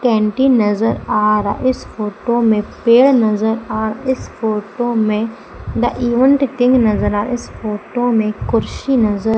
canteen नजर आ रहा इस फोटो में पेड़ नजर आ रहा इस फोटो में द इवेंट किंग नजर आ रहा इस फोटो में कुर्सी नजर --